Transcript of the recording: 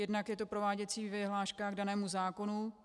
Jednak je to prováděcí vyhláška k danému zákonu.